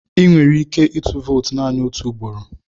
Ị nwere ike ịtụ vootu naanị otu ugboro.